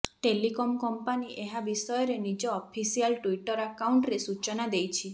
telecom company ଏହା ବିଷୟରେ ନିଜ ଅଫିସିଆଲ ଟ୍ବିଟର ଆକାଉଣ୍ଟରେ ସୂଚନା ଦେଇଛି